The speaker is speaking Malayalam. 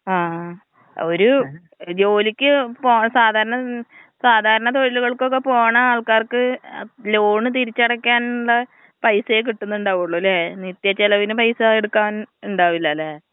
ആ ഒരു ജോലിക്ക് പോണ സാധാരണ സാധാരണ തൊഴിലുകൾക്കൊക്കെ പോണ ആൾക്കാർക്ക് ലോൺ തിരിച്ചടക്കാൻ ള്ള പൈസെ കിട്ടുന്നുണ്ടാവൊള്ളു ല്ലെ, നിത്യ ചെലവിന് പൈസ എടുക്കാൻ ഇണ്ടാവില്ല ലെ.